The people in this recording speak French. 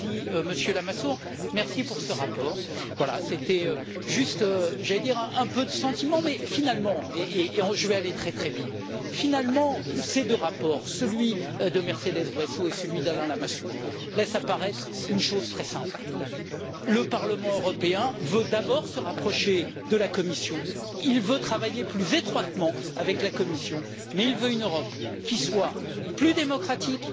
Merci, Monsieur Lamassoure, merci pour ce rapport. Voilà, j'allais dire que c'était juste un peu de sentiments et je vais aller très vite mais, finalement, ces deux rapports, celui de Mercedes Bresso et celui d'Alain Lamassoure, laissent apparaître une chose très simple le Parlement européen veut d'abord se rapprocher de la Commission, il veut travailler plus étroitement avec la Commission, mais il veut une Europe qui soit plus démocratique,